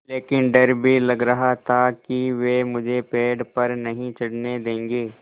लेकिन डर भी लग रहा था कि वे मुझे पेड़ पर नहीं चढ़ने देंगे